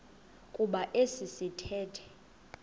kuba esi sithethe